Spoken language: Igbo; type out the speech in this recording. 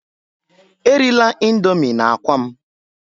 Erila indomii na akwa m!